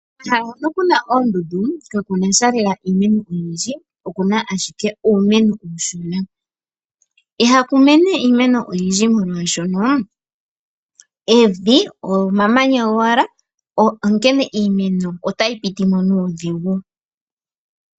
Komahala hono ku na oondundu kaku na sha lela iimeno oyindji. Oku na ashike uumeno uushona. Ihaku mene iimeno oyindji, molwaashono evi omamanya gowala, onkene iimeno otayi piti mo nuudhigu.